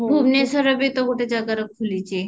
ଭୁବନେଶ୍ବରରେ ବି ତ ଗୋଟେ ଜାଗାରେ ଖୋଲିଛି